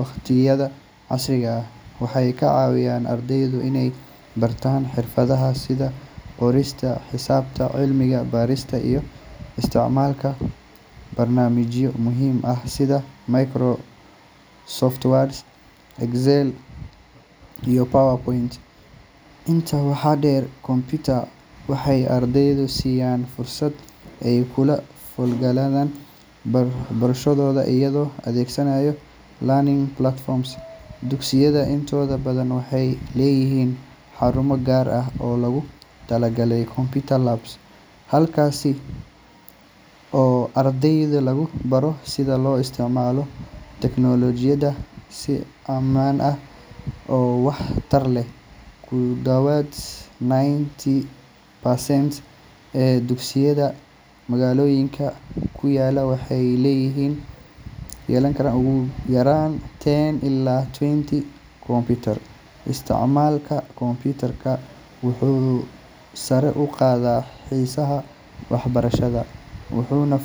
waqtiyada casriga ah. Waxay ka caawiyaan ardayda inay bartaan xirfadaha sida qorista, xisaabta, cilmi-baarista, iyo isticmaalka barnaamijyo muhiim ah sida Microsoft Word, Excel, iyo PowerPoint. Intaa waxaa dheer, computers waxay ardayda siiyaan fursad ay kula falgalaan barayaashooda iyagoo adeegsanaya e-learning platforms. Dugsiyada intooda badan waxay leeyihiin xarumo gaar ah oo loogu talagalay computer labs halkaas oo ardayda lagu baro sida loo isticmaalo tiknoolajiyada si ammaan ah oo waxtar leh. Ku dhowaad ninety percent ee dugsiyada magaalooyinka ku yaalla waxay leeyihiin ugu yaraan ten ilaa twenty kumbuyuutar. Isticmaalka computers wuxuu sare u qaadaa xiisaha waxbarashada, wuxuuna.